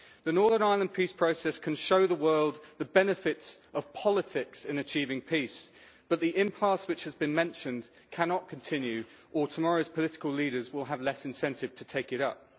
The Northern Ireland peace process can show the world the benefits of politics in achieving peace, but the impasse which has been mentioned cannot continue or tomorrowʼs political leaders will have less incentive to take it up.